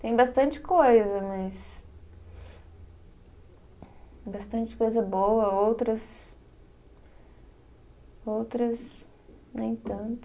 Tem bastante coisa, mas. Bastante coisa boa, outras Outras, nem tanto.